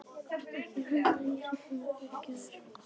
Ekki halda að ég sé búin að fyrirgefa þér.